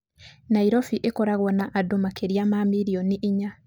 Nairobi ĩkoragwo na andũ makĩria ma milioni inya.